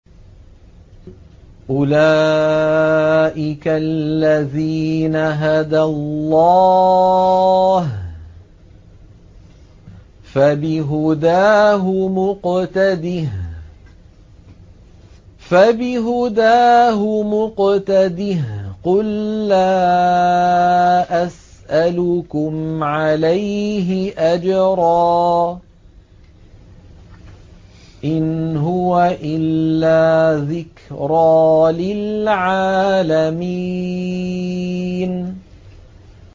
أُولَٰئِكَ الَّذِينَ هَدَى اللَّهُ ۖ فَبِهُدَاهُمُ اقْتَدِهْ ۗ قُل لَّا أَسْأَلُكُمْ عَلَيْهِ أَجْرًا ۖ إِنْ هُوَ إِلَّا ذِكْرَىٰ لِلْعَالَمِينَ